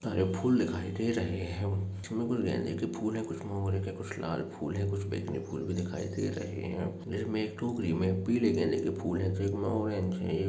फूल दिखाई दे रहे हैं उसमें कुछ गेंदे के फूल है कुछ मोगरे के कुछ लाल फूल है कुछ बैंगनी फूल भी दिखाई दे रहे हैं जिसमे एक टोकरी में पीले गेंदे के फूल हैं जो एक में ऑरेंज है।